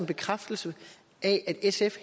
bekræftelse af at sf